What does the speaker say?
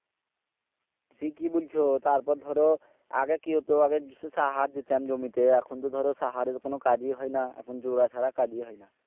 ঠিকই বুলছো তারপর ধরো আগে কি হতো আগে সাহার দিতাম জমিতে এখন তো ধরো সাহারে কোনো কাজই হয় না এখন জোরা ছাড়া কাজই হয় না